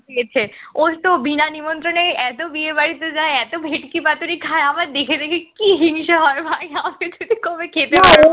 ইয়েতে ওর তো বিনা নিমন্ত্রণে এত বিয়ে বাড়িতে যায় এত ভেটকি পাতুরি খায় আমার দেখে দেখে কি হিংসে হয় ভাই আমাকে যদি কবে খেতে দিত